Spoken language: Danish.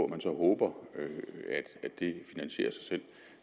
man så håber at det finansierer sig selv